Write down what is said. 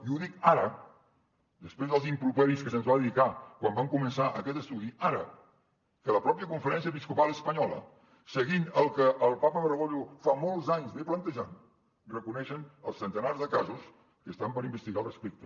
i ho dic ara després dels improperis que se’ns van dedicar quan va començar aquest estudi ara que la mateixa conferència episcopal espanyola seguint el que el papa bergoglio fa molts anys planteja reconeixen els centenars de casos que estan per investigar al respecte